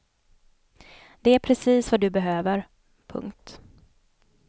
Det är precis vad du behöver. punkt